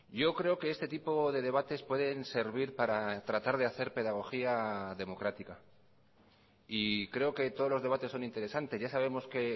yo creo que este tipo de debates pueden servir para tratar de hacer pedagogía democrática y creo que todos los debates son interesantes ya sabemos que